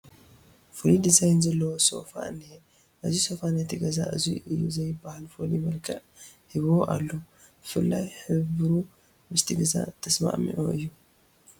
ፍሉይ ዲዛይን ዘለዎ ሶፋ እኒሀ፡፡ እዚ ሶፋ ነቲ ገዛ እዙይ እዩ ዘይበሃል ፍሉፍ መልክዕ ሂብዎ ኣሎ፡፡ ብፍላይ ሕብሩ ምስቲ ገዛ ተስማዕምዒ እዩ፡፡